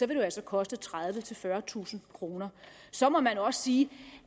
det jo altså koste tredivetusind fyrretusind kroner så må man også sige